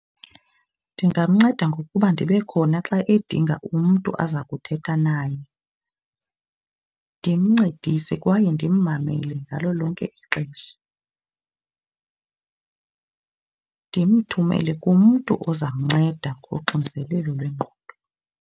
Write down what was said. Ndingamnceda ngokuba ndibe khona xa edinga umntu aza kuthetha naye. Ndimncedise kwaye ndimmamele ngalo lonke ixesha. Ndimthumele kumntu ozamnceda ngoxinzelelo lwengqondo.